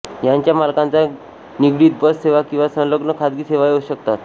यांच्या मालकांच्या निगडित बस सेवा किंवा संलग्न खाजगी सेवाही असू शकतात